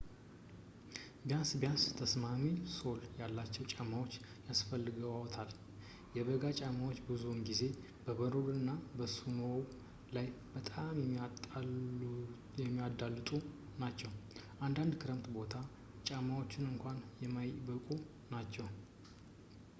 ቢያንስ ቢያንስ ተስማሚ ሶል ያላቸው ጫማዎችን ያስፈልግዎታል። የበጋ ጫማዎች ብዙውን ጊዜ በበረዶ እና በስኖው ላይ በጣም የሚያዳልጡ ናቸው ፣ አንዳንድ የክረምት ቦት ጫማዎች እንኳን የማይበቁ ናቸው